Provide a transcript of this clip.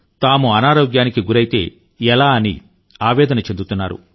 తాము అనారోగ్యానికి గురైతే ఎలా అని ఆవేదన చెందుతున్నారు